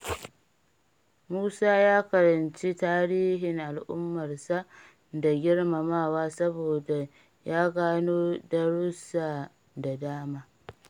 Musa ya karanci tarihin al’ummarsa da girmamawa saboda ya gano darussa da dama.